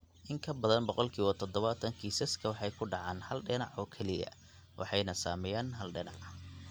In ka badan boqolkiba todobataan kiisaska waxay ka dhacaan hal dhinac oo keliya (hal dhinac) waxayna saameeyaan hal dhinac.